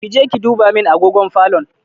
Je ki duba min agogon falo.